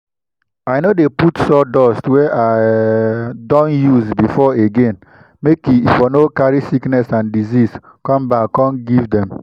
i no dey put sawdust wey i um don use before again make e for no carry sickness and disease come back come give dem